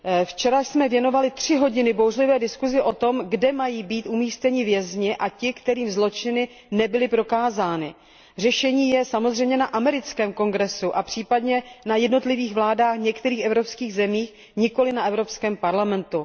Včera jsme věnovali tři hodiny bouřlivé diskusi o tom, kde mají být umístěni vězni a ti, kterým zločiny nebyly prokázány. Řešení je samozřejmě na americkém Kongresu a případně na jednotlivých vládách některých evropských zemí, nikoli na Evropském parlamentu.